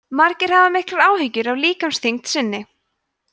margir hafa miklar áhyggjur af líkamsþyngd sinni